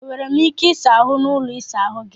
E nwere m ike ịsa ahụ n'ụlọ ịsa ahụ gị?